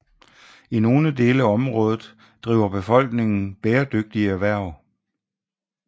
I nogle dele af området driver befolkningen bæredygtige erhverv